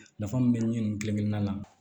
Nafa mun be nin kelen na